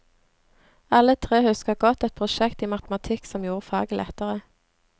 Alle tre husker godt et prosjekt i matematikk som gjorde faget lettere.